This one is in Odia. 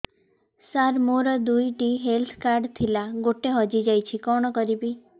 ସାର ମୋର ଦୁଇ ଟି ହେଲ୍ଥ କାର୍ଡ ଥିଲା ଗୋଟେ ହଜିଯାଇଛି କଣ କରିବି